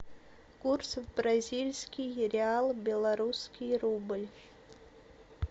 курс бразильский реал белорусский рубль